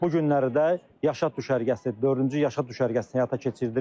Bu günləri də yaşa düşərgəsi dördüncü yaşa düşərgəsini həyata keçiririk.